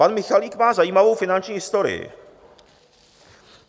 Pan Michalik má zajímavou finanční historii.